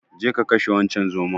Jeka ka kashe wancen zomon.